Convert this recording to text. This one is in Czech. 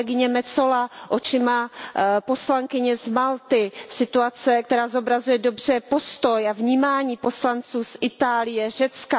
Kolegyně Metsola očima poslankyně z Malty, situace, která zobrazuje dobře postoj a vnímání poslanců z Itálie, Řecka.